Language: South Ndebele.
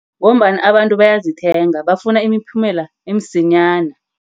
Ngombana abantu bayazithenga, bafuna imiphumela emsinyana.